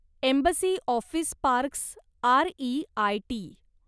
embassy office parks REIT